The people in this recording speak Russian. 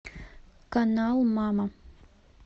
канал мама